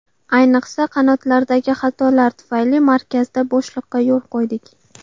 Ayniqsa, qanotlardagi xatolar tufayli markazda bo‘shliqqa yo‘l qo‘ydik.